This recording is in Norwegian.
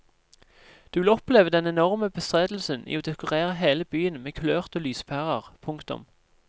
Du vil oppleve den enorme bestrebelsen i å dekorere hele byen med kulørte lyspærer. punktum